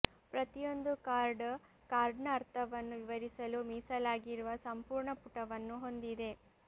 ಪ್ರತಿಯೊಂದು ಕಾರ್ಡ್ ಕಾರ್ಡ್ನ ಅರ್ಥವನ್ನು ವಿವರಿಸಲು ಮೀಸಲಾಗಿರುವ ಸಂಪೂರ್ಣ ಪುಟವನ್ನು ಹೊಂದಿದೆ